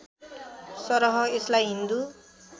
सरह यसलाई हिन्दू